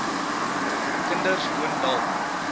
kinders woon dalk